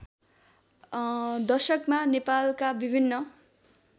दशकमा नेपालका विभिन्न